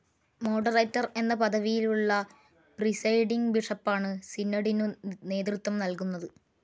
Moderator എന്ന പദവിയുള്ള presiding ബിഷപ്പാണ് സിനഡിനു നേതൃത്വം നൽകുന്നത്.